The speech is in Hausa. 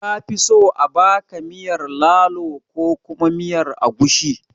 Kafi so a baka miyar lalo ko kuma miyar agushi?